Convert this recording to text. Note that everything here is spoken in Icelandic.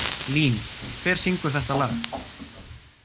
Lín, hver syngur þetta lag?